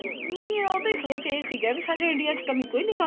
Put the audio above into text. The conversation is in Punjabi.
ਨਹੀਂ ਉਹਦੀ ਸੋਚ ਇਹ ਸੀਗਾ ਵੀ ਸਾਡੇ India ਚ ਕੰਮੀ ਕੋਈ ਨੀ